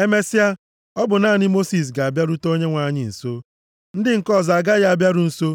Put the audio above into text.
Emesịa, ọ bụ naanị Mosis ga-abịarute Onyenwe anyị nso. Ndị nke ọzọ agaghị abịaru nso.